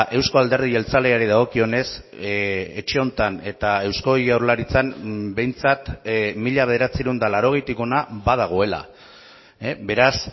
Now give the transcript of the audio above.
eusko alderdi jeltzaleari dagokionez etxe honetan eta eusko jaurlaritzan behintzat mila bederatziehun eta laurogeitik hona badagoela beraz